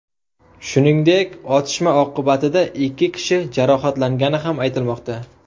Shuningdek, otishma oqibatida ikki kishi jarohatlangani ham aytilmoqda.